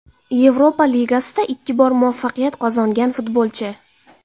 Yevropa Ligasida ikki bor muvaffaqiyat qozongan futbolchi.